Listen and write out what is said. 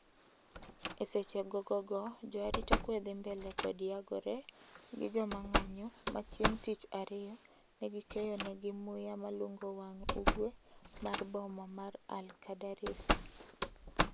Eseche gogo go, jo arita kwee dhi mbele kod nyagore gi jomang'anyo machieng tich ariyo negikeyo negi muya malungo wang' ugwe mar boma ma al-Qadarif.